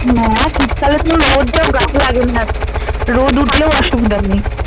হ্যাঁ শীতকালে তো রোদ টা গায়ে লাগে না রোদ উঠলেও অসুবিধা নেই